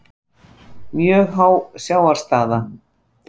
Mjög há sjávarstaða